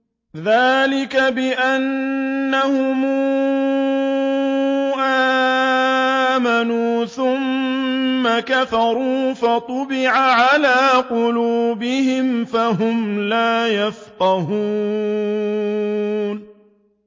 ذَٰلِكَ بِأَنَّهُمْ آمَنُوا ثُمَّ كَفَرُوا فَطُبِعَ عَلَىٰ قُلُوبِهِمْ فَهُمْ لَا يَفْقَهُونَ